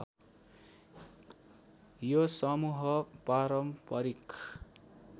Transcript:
यो समूह पारम्परिक